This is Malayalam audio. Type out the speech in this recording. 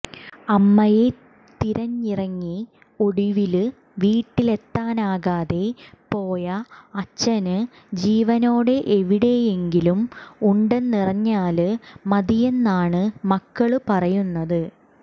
അമ്മയെ തിരഞ്ഞിറങ്ങി ഒടുവില് വീട്ടിലെത്താനാകാതെ പോയ അച്ഛന് ജീവനോടെ എവിടെയെങ്കിലും ഉണ്ടെന്നറിഞ്ഞാല് മതിയെന്നാണ് മക്കള് പറയുന്നത്